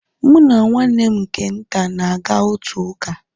Mụ na nwanne m nke nta, na-aga otu ụka